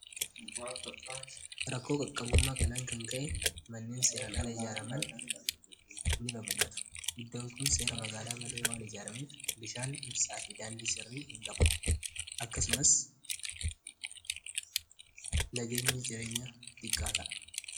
rakkoo qaqqabummaa kanaan kan ka'e manneen seeraan ala ijaaraman ini baballatu iddoon kun seera magaalaa malee waan ijaarameef bishaan ibsaa fi daandii sirrii hin gabu akkasumas nagaenya jireenya diqqaata'a